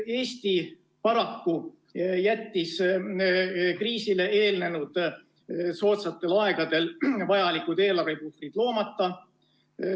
Eesti paraku jättis kriisile eelnenud soodsatel aegadel vajalikud eelarvepuhvrid loomata.